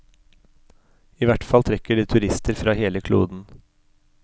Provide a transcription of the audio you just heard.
I hvert fall trekker de turister fra hele kloden.